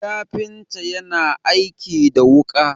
kafinta yana aiki da wuka